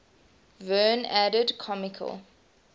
verne added comical